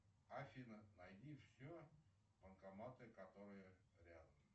афина найди все банкоматы которые рядом